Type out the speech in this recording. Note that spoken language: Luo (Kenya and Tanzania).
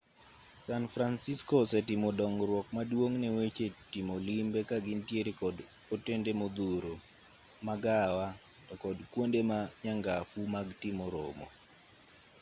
san francisco osetimo dongruok maduong' ne weche timo limbe ka gintiere kod otende modhuro magawa to kod kuonde ma nyangafu mag timo romo